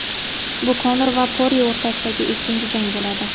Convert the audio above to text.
Bu Konor va Porye o‘rtasidagi ikkinchi jang bo‘ladi.